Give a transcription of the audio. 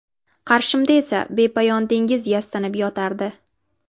Qarshimda esa bepoyon dengiz yastanib yotardi.